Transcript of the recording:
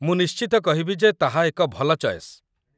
ମୁଁ ନିଶ୍ଚିତ କହିବି ଯେ ତାହା ଏକ ଭଲ ଚଏସ୍